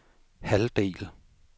halvdel